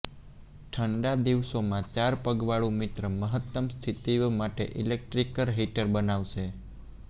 ઠંડા દિવસોમાં ચાર પગવાળું મિત્ર મહત્તમ સ્થિતિઓ માટે ઇલેક્ટ્રિક હીટર બનાવશે